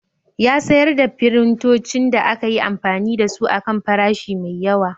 Ya sayar da firintocin da aka yi amfani da su a kan farashi mai yawa